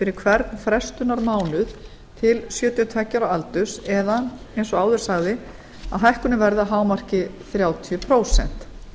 fyrir hvern frestunarmánuð til sjötíu og tveggja ára aldurs eða eins og áður sagði að hækkunin verði að hámarki þrjátíu prósent